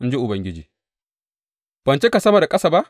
In ji Ubangiji Ban cika sama da ƙasa ba?